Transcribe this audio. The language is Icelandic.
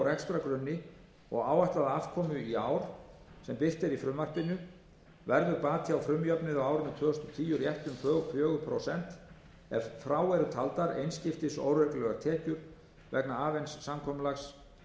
rekstrargrunni og áætlaða afkomu í ár sem birt er í frumvarpinu verður bati á frumjöfnuði á árinu tvö þúsund og tíu rétt um fjögur prósent ef frá eru taldar einskiptis óreglulegar tekjur vegna avens samkomulags